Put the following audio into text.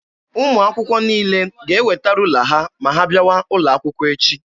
Ụmụ akwụkwọ niile ga-eweta ruula ha ma ha bịawa ụlọ akwụkwọ echi.